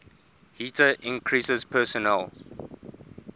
heater increases personal